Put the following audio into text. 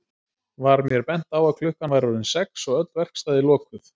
Var mér bent á að klukkan væri orðin sex og öll verkstæði lokuð.